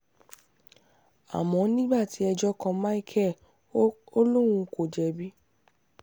àmọ́ nígbà tí ẹjọ́ kan micheal ò lóun kò jẹ̀bi